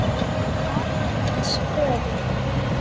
LAND MÍNS FÖÐUR